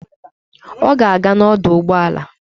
Ọ ga-aga n'ọdọụgbọala